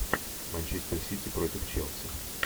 манчестер сити против челси